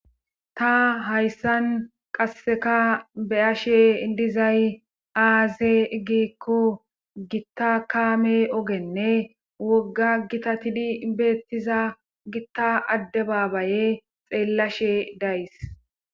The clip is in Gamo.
Ta hayssan qasseka be7ashe dizay aaze iggikko gitta kaame ogenne wogga gitatidi beettiza gitta adde baabaye xeellashe days.